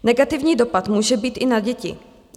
Negativní dopad může být i na děti.